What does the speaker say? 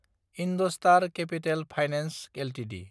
IndoStar Capital Finance Ltd